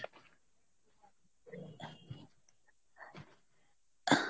আহ